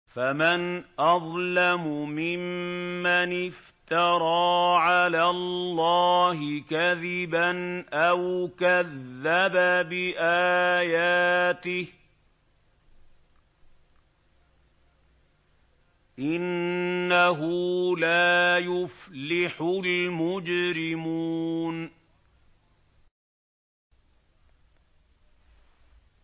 فَمَنْ أَظْلَمُ مِمَّنِ افْتَرَىٰ عَلَى اللَّهِ كَذِبًا أَوْ كَذَّبَ بِآيَاتِهِ ۚ إِنَّهُ لَا يُفْلِحُ الْمُجْرِمُونَ